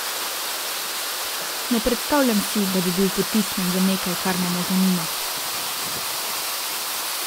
Ne predstavljam si, da bi bil potisnjen v nekaj, kar me ne zanima.